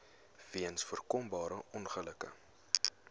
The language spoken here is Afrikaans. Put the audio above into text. weens voorkombare ongelukke